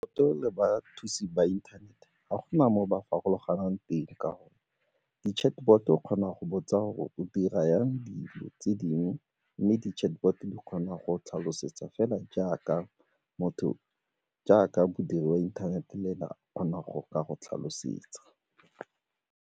E le bathusi ba inthanete ga gona mo ba farologang teng ka gonne di-chatbot-o o kgona go botsa gore o dira jang dijo tse dingwe mme di-chatbot di kgona go tlhalosetsa fela jaaka motho jaaka modiri wa inthanete le ene a kgona go ka go tlhalosetsa.